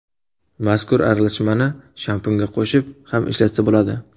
Mazkur aralashmani shampunga qo‘shib ham ishlatsa bo‘ladi.